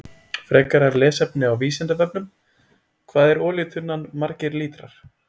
Frekara lesefni á Vísindavefnum: Hvað er olíutunnan margir lítrar?